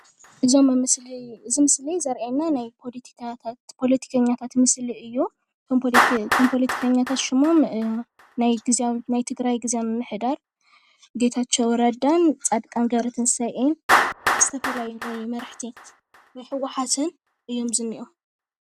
እዚ ምስሊ ዘርእየና ናይ ፖለቲከኛታት ምስሊ እዩ፣ እቶም ፖለቲከኛታት ሽሞም ናይ ትግራይ ግዝያዊ ምምሕዳር ጌታቸው ረዳን ፃድቃን ገብረትንሳኤን ዝተፈላለዩ መራሕቲ ናይ ህወሓትን እዮም ዝኒሀው።